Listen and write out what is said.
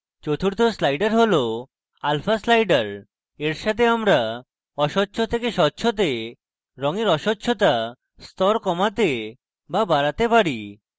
চতুর্থ slider হল alpha slider এর সাথে আমরা অস্বচ্ছ থেকে স্বচ্ছতে রঙের অস্বচ্ছতা স্তর কমাতে the বাড়াতে পারি